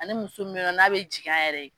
Ani muso min bɛ ye nɔ n'a bɛ jiging a yɛrɛ ye.